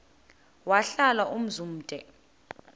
wahlala umzum omde